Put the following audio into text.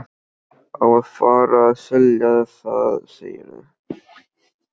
Á að fara að selja það, segirðu?